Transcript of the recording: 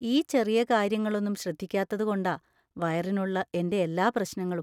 ഈ ചെറിയ കാര്യങ്ങളൊന്നും ശ്രദ്ധിക്കാത്തത് കൊണ്ടാ വയറിനുള്ള എൻ്റെ എല്ലാ പ്രശ്നങ്ങളും.